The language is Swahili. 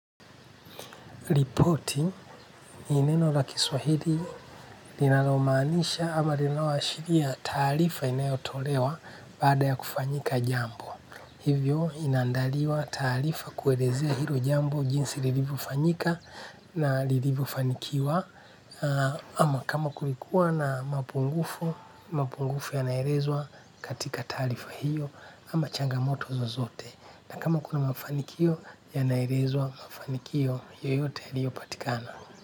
Ripoti ni neno la kiswahili linalomaanisha ama linaloashiria taarifa inayotolewa baada ya kufanyika jambo. Hivyo inaandaliwa taarifa kuelezea hilo jambo jinsi lilivofanyika na lilivofanikiwa. Ama kama kulikuwa na mapungufu yanaelezwo katika taarifa hio ama changamoto zozote. Na kama kuna mafanikio ya naelezwa mafanikio yoyote yaliopatikana.